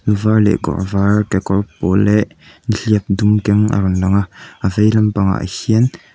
lu var leh kawr var kekawr pawl leh nihliap dum keng a rawn lang a a vei lampangah hian--